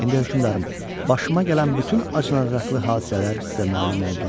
İndi hökümdarım, başıma gələn bütün acınacaqlı hadisələr sizə məlum oldu.